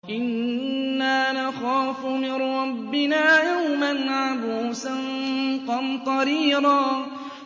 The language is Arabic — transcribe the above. إِنَّا نَخَافُ مِن رَّبِّنَا يَوْمًا عَبُوسًا قَمْطَرِيرًا